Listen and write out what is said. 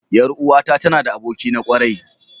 Yar uwata tana da aboki na kwarai.